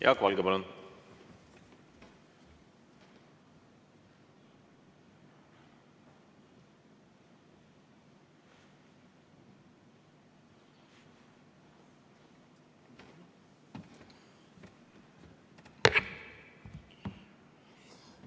Jaak Valge, palun!